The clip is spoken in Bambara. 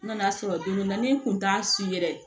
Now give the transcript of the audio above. N nana sɔrɔ don dɔ la ni n kun t'a si yɛrɛ